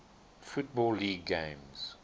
football league games